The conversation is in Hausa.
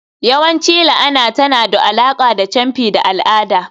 yawanci la'ana tana da alaƙa da camfi da al'ada.